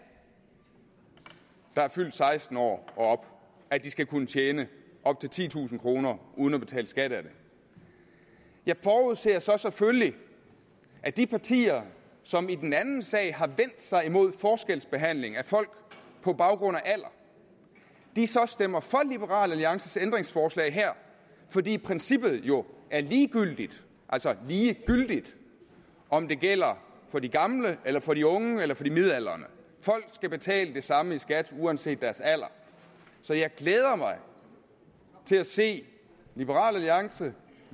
der er fyldt seksten år og op at de skal kunne tjene op til titusind kroner uden at betale skat af det jeg forudser så selvfølgelig at de partier som i den anden sag har vendt sig imod forskelsbehandling af folk på baggrund af alder stemmer for liberal alliances ændringsforslag her fordi princippet jo er lige gyldigt altså lige gyldigt om det gælder for de gamle eller for de unge eller for de midaldrende folk skal betale det samme i skat uanset deres alder så jeg glæder mig til at se liberal alliance